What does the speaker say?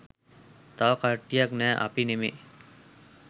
තව කට්ටියක් නෑ අපි නෙමේ